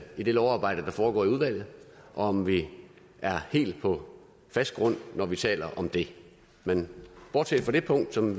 i det lovarbejde der foregår i udvalget og om vi er helt på fast grund når vi taler om det men bortset fra det punkt som